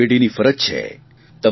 દરેક પેઢીની ફરજ છે